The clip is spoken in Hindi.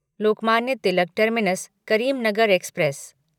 Lokmanya Tilak terminus Karimnagar express